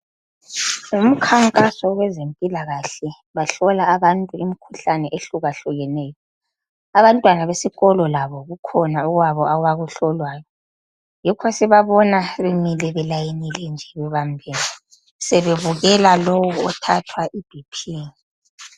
Umkhankaso wezempilakahle bahlola abantu imkhuhlane ehlukahlukeneyo. Abantwana besikolo labo kukhona okwabo abakuhlolwayo, yikho sibabona bemile belayinile nje bebambene sebebukela lowo othathwa iBP.